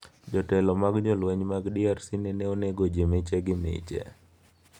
Jotelo mag jolweny mag DRC nene onego ji miche gi miche.